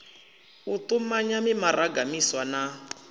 u tumanya mimaraga miswa na